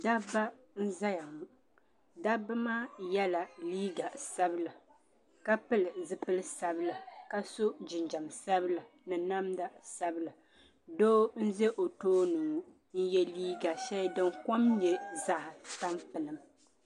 Dabba nzɛya ŋɔ dabbi maa nyɛla liiga sabila ka pili zupili sabila ka so jinjɛm sabila ni namda sabila doo mbɛ o tooni ŋɔ n yɛ liiga shɛli din kom nyɛ zaɣi tampilim.